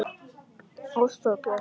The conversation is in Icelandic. Ásta og Bjarki.